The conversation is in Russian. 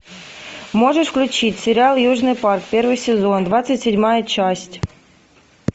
можешь включить сериал южный парк первый сезон двадцать седьмая часть